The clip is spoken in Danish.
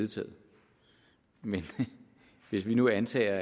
vedtaget men hvis vi nu antager